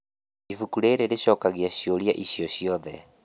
Ibuku rĩrĩ rĩcokagia ciũria icio ciothe.